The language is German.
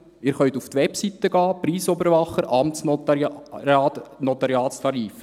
Sie können auf die Webseite des Preisüberwachers gehen – Notariatstarife.